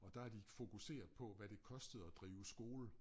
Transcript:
Og der har de fokuseret på hvad det kostede at drive skole